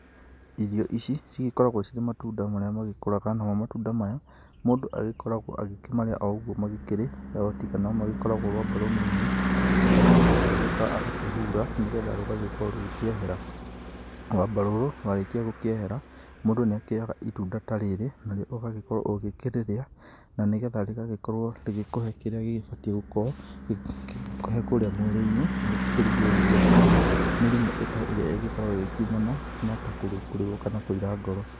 Irio ici cigĩkoragwo cirĩ matunda marĩa magĩkũraga, namo matunda maya mũndũ agĩkoragwo agĩkĩmarĩa o ũguo magĩkĩrĩ otiga nomagĩkoragwo rwamba rũnini, rũrĩa mũndũ agĩũkaga agakĩhura, na nĩgetha rũgagĩkorwo rũkĩehera. Rwamba rũrũ rwakĩrĩkia gũkĩehera, mũndũ nĩakĩoyaga itunda ta rĩrĩ na ũgagĩkorwo ũgĩkĩrĩrĩa, na nĩgetha rĩgagĩkorwo rĩgĩkũhe kĩrĩa rĩbatiĩ gũkorwo rĩgĩkũhee kũrĩa mwĩrĩ-inĩ, rĩgakĩrigĩrĩria hihi mĩrimũ ta ĩrĩa ĩgĩkoragwo ĩkĩumana ta kũrũngũrĩrwo kana kũira ngoro.